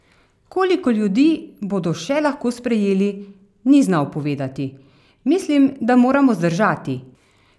Koliko ljudi bodo še lahko sprejeli, ni znal povedati: "Mislim, da moramo zdržati.